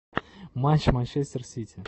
матч манчестер сити